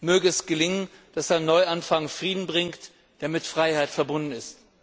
Möge es gelingen, dass ein Neuanfang Frieden bringt, der mit Freiheit verbunden ist.